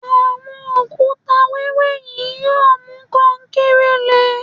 Àwọn òkúta wẹẹrẹ yìí yóò mú kankéré le